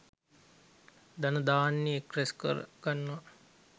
ධන ධාන්‍ය එක් රැස් කර ගන්නවා.